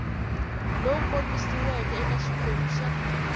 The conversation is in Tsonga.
lowu kombisiweke eka xiphemu xa